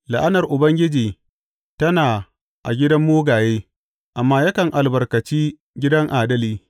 La’anar Ubangiji tana a gidan mugaye, amma yakan albarkaci gidan adali.